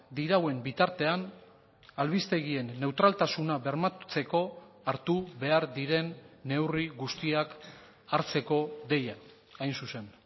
dirauen bitartean albistegien neutraltasuna bermatzeko hartu behar diren neurri guztiak hartzeko deia hain zuzen